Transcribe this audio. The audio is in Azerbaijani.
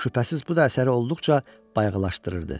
Şübhəsiz, bu da əsəri olduqca bayağılaşdırırdı.